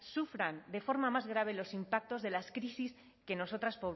sufran de forma más grave los impactos de las crisis que nosotros